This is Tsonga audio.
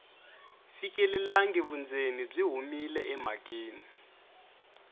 fikelelangi vundzeni byi humile emhakeni